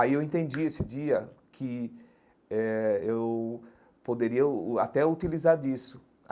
Aí eu entendi esse dia que eh eu poderia uh uh até utilizar disso.